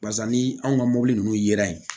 Barisa ni anw ka mobili ninnu yera yen